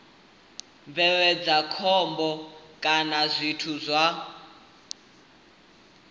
bveledza khombo kana zwithu zwa